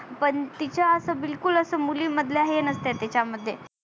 पण तिच्या अस बिलकुल अस मुली मधल्या हे नसत तिच्या मध्ये